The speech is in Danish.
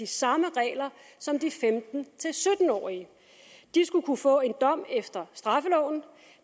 samme regler som de femten til sytten årige de skulle kunne få en dom efter straffeloven